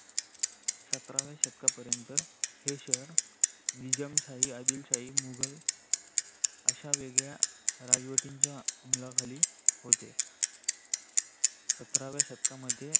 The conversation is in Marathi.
सतराव्य शतकापरेंत ही शहर निजमशाही आदीलशाही मुगल अशा वेगळ्या राजवटीच्या अमला खाली होत. सतराव्य शतकामध्ये